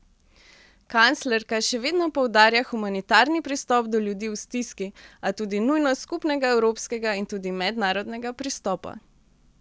Kanclerka še vedno poudarja humanitarni pristop do ljudi v stiski, a tudi nujnost skupnega evropskega in tudi mednarodnega pristopa.